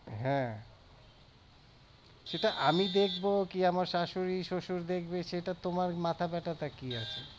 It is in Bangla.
হ্যাঁ আমি দেখবো কি আমার শাশুড়ি শ্বশুর দেখবে সেটা তো তোমার মাথা ব্যাথা টা কি আছে?